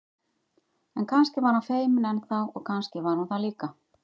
En kannski var hann feiminn enn þá og kannski var hún það líka.